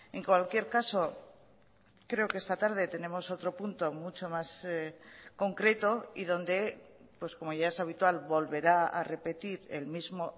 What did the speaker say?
en cualquier caso creo que esta tarde tenemos otro punto mucho más concreto y donde como ya es habitual volverá a repetir el mismo